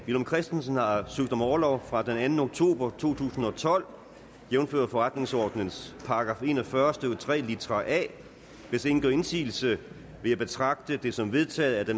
villum christensen har søgt om orlov fra den anden oktober to tusind og tolv jævnfør forretningsordenens § en og fyrre stykke tre litra a hvis ingen gør indsigelse vil jeg betragte det som vedtaget at